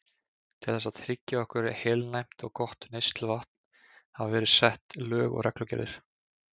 Til þess að tryggja okkur heilnæmt og gott neysluvatn hafa verið sett lög og reglugerðir.